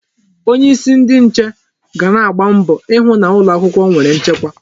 Onyeisi ndi nche ga na-agba mbọ ịhụ na ụlọ akwụkwọ nwere nchekwa.